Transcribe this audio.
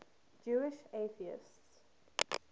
jewish atheists